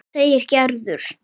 segir Gerður.